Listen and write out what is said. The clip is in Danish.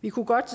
vi kunne godt